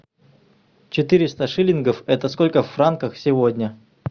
четыреста шиллингов это сколько в франках сегодня